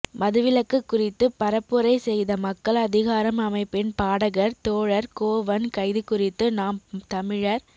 மதுவிலக்குக் குறித்துப் பரப்புரை செய்த மக்கள் அதிகாரம் அமைப்பின் பாடகர் தோழர் கோவன் கைது குறித்து நாம் தமிழர்